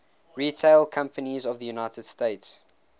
retail companies of the united states